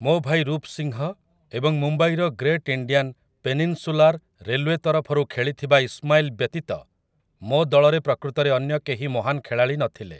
ମୋ ଭାଇ ରୂପ୍ ସିଂହ ଏବଂ ମୁମ୍ବାଇର ଗ୍ରେଟ୍ ଇଣ୍ଡିଆନ୍ ପେନିନ୍‌ସୁଲାର୍‌ ରେଲ୍‌ଓ୍ୱେ ତରଫରୁ ଖେଳିଥିବା ଇସ୍‌ମାଇଲ୍ ବ୍ୟତୀତ ମୋ ଦଳରେ ପ୍ରକୃତରେ ଅନ୍ୟ କେହି ମହାନ ଖେଳାଳି ନଥିଲେ ।